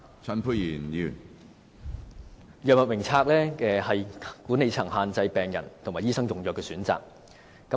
透過藥物名冊，管理層限制了病人和醫生用藥的選擇。